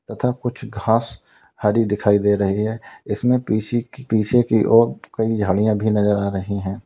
तथा कुछ घास हरी दिखाई दे रही है इसमें पीछी पीछे की ओर कई झाड़ियां भी नजर आ रही हैं।